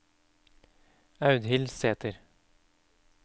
Audhild Sæther